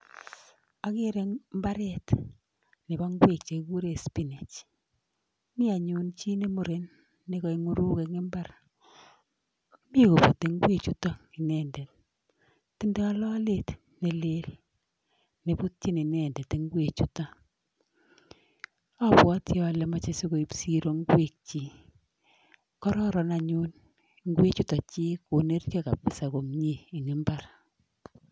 Agere imbaret nebo ingwek chekigure spinach .mi anyun chi ne muren nekaing'uruk eng imbar.mi kobutei ingwek chutok inendet. Tindoi lolet nelel nebutchin inendet ingwek chutok. Abwati ale machei sikoib siro ingwek chok. kororan anyun ingwek chutok chik koneryo kabisa komie eng imbar.